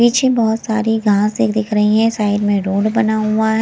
पीछे बहुत सारी घास दिख रही है साइड में रोड बना हुआ है।